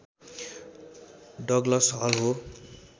Douglas हल हो